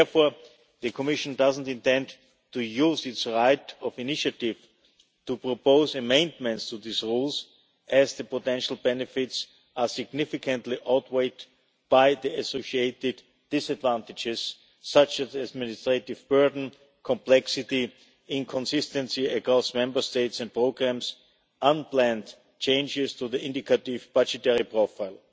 Therefore, the Commission doesn't intend to use its right of initiative to propose amendments to these rules as the potential benefits are significantly outweighed by the associated disadvantages, such as administrative burden, complexity, inconsistency across Member States and programmes, and unplanned changes to the indicative budgetary profile.